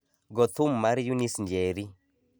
go thum mar eunice njeri